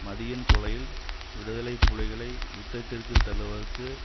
மதியின் கொலையில் விடுதலை புலிகளை யுத்தத்திற்கு தள்ளுவதற்கு